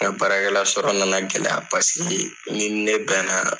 baara kɛla sɔrɔ na na gɛlɛya paseke n'i ni ne bɛ na